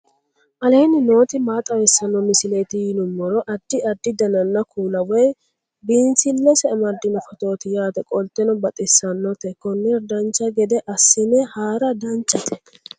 aleenni nooti maa xawisanno misileeti yinummoro addi addi dananna kuula woy biinsille amaddino footooti yaate qoltenno baxissannote konnira dancha gede assine haara danchate